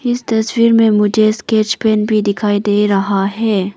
इस तस्वीर में मुझे स्केच पेन भी दिखाई दे रहा है।